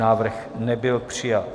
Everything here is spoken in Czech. Návrh nebyl přijat.